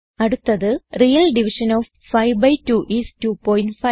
അടുത്തത് real division of 5 B 2 IS 25